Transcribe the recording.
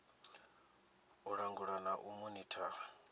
u langula na u monithara